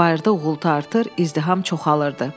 Bayırda uğultu artır, izdiham çoxalır idi.